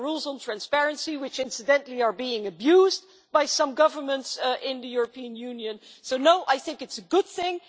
There are rules on transparency which, incidentally, are being abused by some governments in the European Union so no, I think it is a good thing.